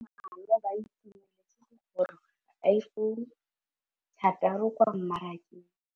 Bareki ba ba malwa ba ituemeletse go gôrôga ga Iphone6 kwa mmarakeng.